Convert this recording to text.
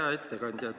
Hea ettekandja!